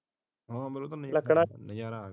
ਲੱਕੜਾ